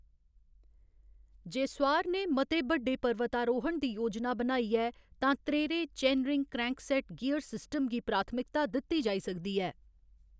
जे सुआर ने मते बड्डे पर्वतारोहण दी योजना बनाई ऐ, तां त्रह्‌रेरे चेनरिंग क्रैंकसेट गियर सिस्टम गी प्राथमिकता दित्ती जाई सकदी ऐ।